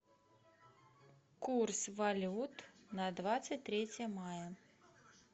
курс валют на двадцать третье мая